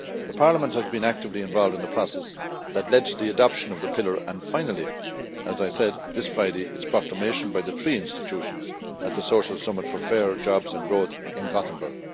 Parliament has been actively involved in the process that led to the adoption of the pillar and finally, as I said, to its proclamation this Friday by the three institutions at the Social Summit for Fair Jobs and Growth in Gothenburg.